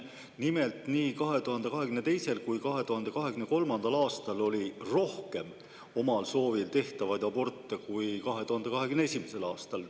Nimelt, nii 2022. kui 2023. aastal oli omal soovil tehtavaid aborte rohkem kui 2021. aastal.